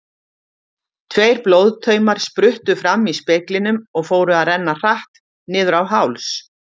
Tveir blóðtaumar spruttu fram í speglinum og fóru að renna hratt niður á háls.